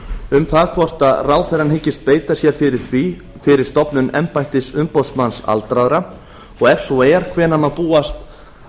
um það hvort ráðherrann hyggist beita sér fyrir stofnun embættis umboðsmanns aldraðra og ef svo er hvenær má búast